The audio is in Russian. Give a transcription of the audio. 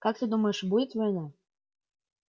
как ты думаешь будет война